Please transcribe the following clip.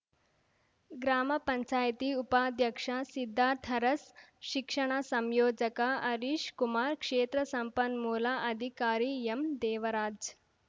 ಗ್ರಾಮ ಪಂಚಾಯತಿ ಉಪಾಧ್ಯಕ್ಷ ಸಿದ್ಧಾರ್ಥ್ ಅರಸ್‌ ಶಿಕ್ಷಣ ಸಂಯೋಜಕ ಹರೀಶ್‌ ಕುಮಾರ್‌ ಕ್ಷೇತ್ರ ಸಂಪನ್ಮೂಲ ಅಧಿಕಾರಿ ಎಂದೇವರಾಜ್‌